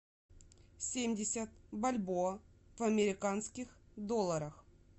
семьдесят бальбоа в американских долларах